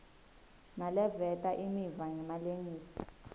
naleveta imiva ngemalengiso